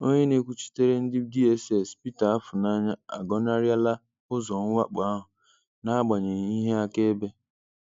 Onye na-ekwuchitere ndi DSS, Peter Afunanya, agọnarịa la ụzọ mwakpo ahụ n'agbanyeghị ihe akaebe.